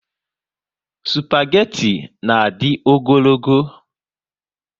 Spageti na adi ogologo